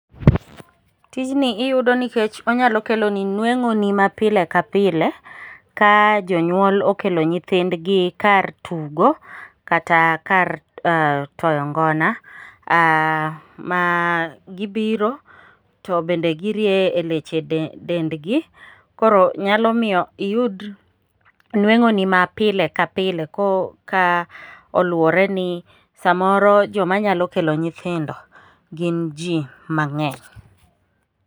Tijni iyudo nikech onyalo keloni nweng'oni ma pile ka pile ka jonyuol okelo nyithindgi kar tugo kata kar toyo ngona, ma gibiro to bende girieye leche dengi, koro nyalo miyo iyud nweng'oni mapile ka pile ko luwore ni samoro joma nyalo kelo nyithindo gin ji mang'eny.